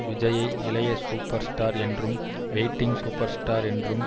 விஜய்யை இளைய super star என்றும் வெயிட்டிங் சூப்பர் ஸ்டார் என்றும்